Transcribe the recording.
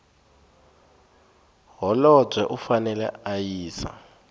holobye u fanele a yisa